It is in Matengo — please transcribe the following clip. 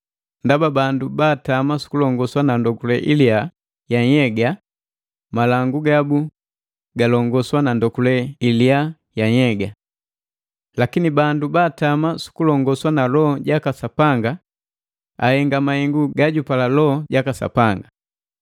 Ndaba bandu baatama sukulongoswa na ndokule iliya ya nhyega malangu gabu galongoswa na ndokule ilia ya nhyega. Lakini bandu baatama sukulongoswa na Loho jaka Sapanga ahenga mahengu gajupala Loho jaka Sapanga.